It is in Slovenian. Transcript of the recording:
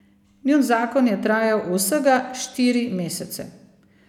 Njun zakon je trajal vsega štiri mesece.